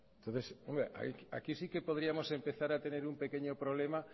entonces aquí sí que podríamos empezar a tener un pequeño problema